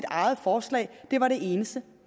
eget forslag var det eneste